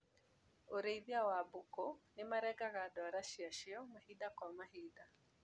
Urĩithia a mbũkũ nĩmarengaga ndwara ciacio mahinda kwa mahinda.